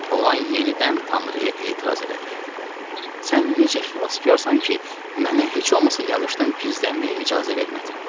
Oğlan yenidən Tanrıya etiraz elədi: "Sən necə xilaskarsan ki, mənə heç olmasa yağışdan gizlənməyə icazə vermədin?"